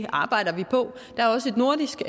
arbejder vi på der er også et nordisk